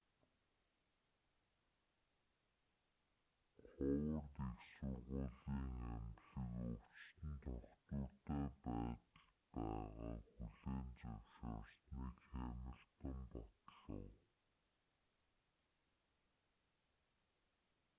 ховард их сургуулийн эмнэлэг өвчтөн тогтвортой байдалд байгааг хүлээн зөвшөөрснийг хэмилтон батлав